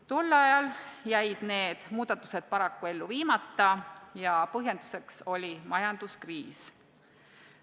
Tol ajal jäid need muudatused paraku ellu viimata ja põhjenduseks oli majanduskriis.